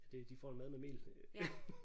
Det de får en mad med mel